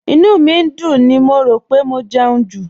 Ìnú mi ń dùn mí, mo rò pé mo jẹun jù